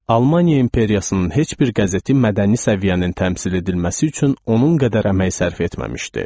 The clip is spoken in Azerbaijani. Almaniya imperiyasının heç bir qəzeti mədəni səviyyənin təmsil edilməsi üçün onun qədər əmək sərf etməmişdi.